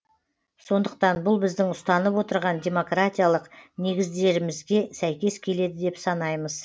сондықтан бұл біздің ұстанып отырған демократиялық негіздерімізге сәйкес келеді деп санаймыз